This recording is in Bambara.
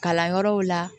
Kalanyɔrɔw la